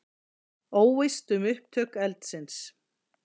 Óvíst um upptök eldsins